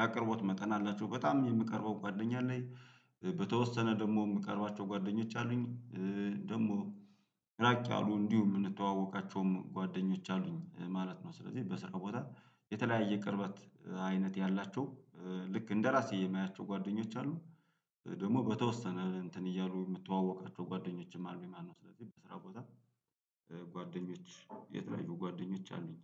ያቀርቦት መጠን አላቸው በጣም የምቀርበው ጓደኛ አለኝ። ደግሞ የምቀርባቸው ጓደኞች አሉኝ። ደግሞ ራቅ ያሉ እንዲሁ የምንተዋወቃቸውም ጓደኞች አሉኝ ማለት ነው። ስለዚህ በስራው ቦታ የተለያየ ቅርበት አይነት ያላቸው ልክ እንደራሴ የማያቸው ጓደኞች አሉ። ደግሞ በተወሰነ እንትን እያሉ የምተዋወቃቸው ጓደኞችም አሉኝ ማነው? ስለዚህ በስራ ቦታ ጓደኞች የተለያዩ ጓደኞች አሉኝ።